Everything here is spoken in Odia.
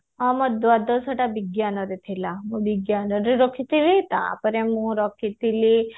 ହଁ ମୋ ଦ୍ଵାଦଶ ଟା ବିଜ୍ଞାନ ରେ ଥିଲା ମୁଁ ବିଜ୍ଞାନରେ ରଖିଥିଲି ତାପରେ ମୁଁ ରଖିଥିଲି